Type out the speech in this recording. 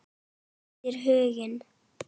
Mætir Huginn?